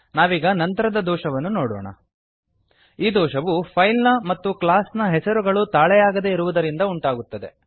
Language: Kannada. ನಾವೀಗ ನಂತರದ ದೋಷವನ್ನು ನೋಡೋಣ ಈ ದೋಷವು ಫೈಲ್ ನ ಮತ್ತು ಕ್ಲಾಸ್ ನ ಹೆಸರುಗಳು ತಾಳೆಯಾಗದೆ ಇರುವುದರಿಂದ ಉಂಟಾಗುತ್ತದೆ